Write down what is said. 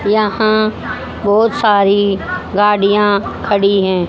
यहां बहोत सारी गाड़ियां खड़ी है।